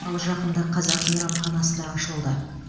ал жақында қазақ мейрамханасы да ашылды